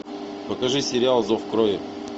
покажи сериал зов крови